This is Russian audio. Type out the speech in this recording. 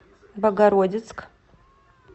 богородицк